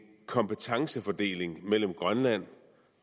kompetencefordeling mellem grønland